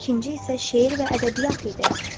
İkinci isə şeir və ədəbiyyat idi.